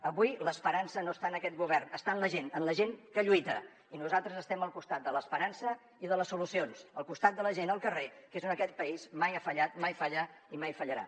avui l’esperança no està en aquest govern està en la gent en la gent que lluita i nosaltres estem al costat de l’esperança i de les solucions al costat de la gent al carrer que és on aquest país mai ha fallat mai falla i mai fallarà